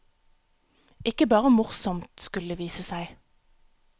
Ikke bare morsomt, skulle det vise seg.